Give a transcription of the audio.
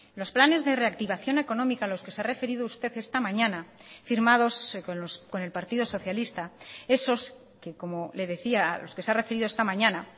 los planes de reactivación económica a los que se ha referido usted esta mañana firmados con el partido socialista esos que como le decía a los que se ha referido esta mañana